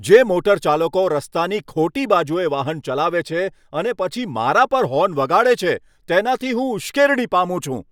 જે મોટરચાલકો રસ્તાની ખોટી બાજુએ વાહન ચલાવે છે અને પછી મારા પર હોર્ન વગાડે છે તેનાથી હું ઉશ્કેરણી પામું છું.